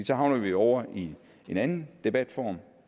så havner vi ovre i en anden debatform